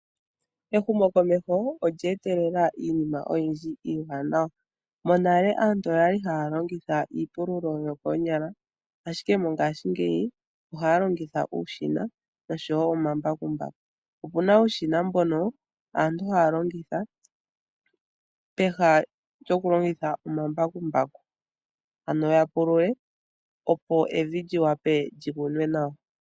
Ehumokomeho olye etelela iinima oyindji iiwanawa. Monale aantu oyali haya longitha iipululo yokoonyala ashike mongaashingeyi ohaya longitha uushina oshowo omambakumbaku. Opuna uushina mbono aantu haya longitha peha lyokulongitha omambakumbaku, ano ya pulule opo evi li wape lyi kunwe nawa.